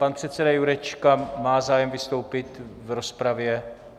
Pan předseda Jurečka má zájem vystoupit v rozpravě?